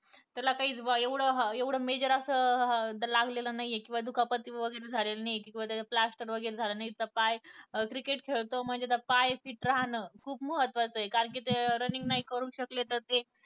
त्याला काहीच बॉ एवढे अह एवढे अं मेजर असं अह लागलेलं नाही किंवा दुखापत वगैरे झालेलं नाही किंवा त्याचं plaster वगैरे झालेलं नाही त्याच पाय cricket खेळतो म्हणजे त्याचा पाय ठीक राहणे खुप महत्वाचं ये कारण running नाही करू शकले तर ते